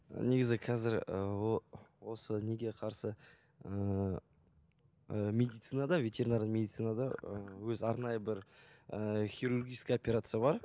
негізі қазір ыыы осы неге қарсы ыыы ы медицинада ветеринарный медицицнада ыыы өзі арнайы бір ыыы хирургический операция бар